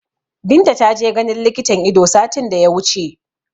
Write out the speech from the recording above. Binta ta je ganin likitan Ido satin da ya wuce